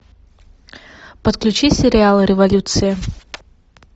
подключи сериал революция